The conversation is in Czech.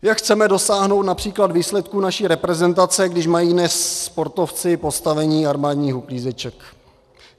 Jak chceme dosáhnout například výsledků naší reprezentace, když mají dnes sportovci postavení armádních uklízeček?